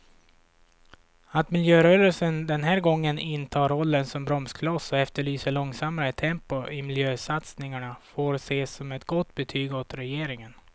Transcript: Att miljörörelsen den här gången intar rollen som bromskloss och efterlyser långsammare tempo i miljösatsningarna får ses som ett gott betyg åt regeringen.